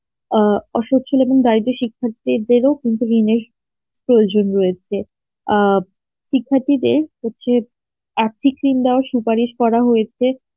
অসচল এবং দারিদ্র সিক্খাত্রীদের ও কিন্তু প্রয়োজন রয়েছে আ শিক্ষার্থীদের হচ্ছে বা সুপারিশ করা হয়েছে